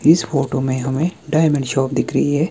इस फोटो में हमें डायमंड शॉप दिख रही हैं।